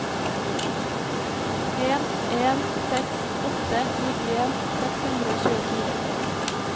en en seks åtte nittien seks hundre og tjuefire